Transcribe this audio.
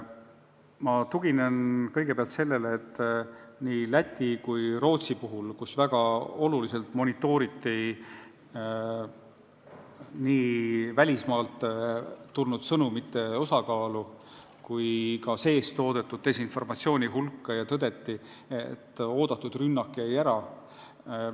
Ma tuginen kõigepealt sellele, et nii Läti kui Rootsi puhul, kus väga olulisel määral monitooriti nii välismaalt tulnud sõnumite osakaalu kui ka sees toodetud desinformatsiooni hulka, tõdeti, et oodatud rünnak jäi ära.